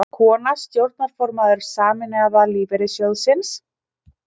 Kona stjórnarformaður Sameinaða lífeyrissjóðsins